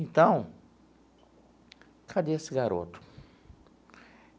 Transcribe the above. Então... Cadê esse garoto?